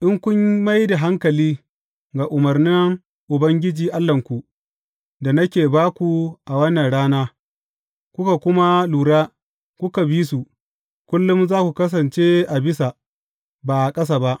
In kun mai da hankali ga umarnan Ubangiji Allahnku da nake ba ku a wannan rana, kuka kuma lura, kuka bi su, kullum za ku kasance a bisa, ba a ƙasa ba.